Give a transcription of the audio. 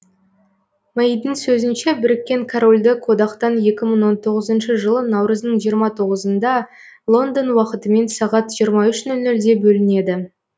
мэйдің сөзінше біріккен корольдік одақтан екі мың он тоғызыншы жылы наурыздың жиырма тоғызында лондон уақытымен сағат жиырма үш нөл нөлде бөлінеді